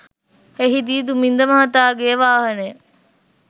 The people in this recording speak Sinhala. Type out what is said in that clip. එහිදී දුමින්ද මහතාගේ වාහනය